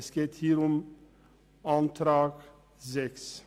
Es geht hier um den Antrag 6.